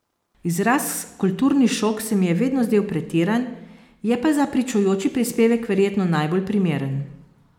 Izraz kulturni šok se mi je vedno zdel pretiran, je pa za pričujoči prispevek verjetno najbolj primeren.